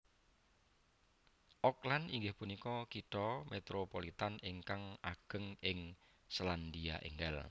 Auckland inggih punika kitha Métropolitan ingkang ageng ing Sélandia Ènggal